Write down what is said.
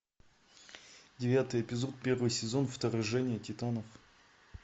девятый эпизод первый сезон вторжение титанов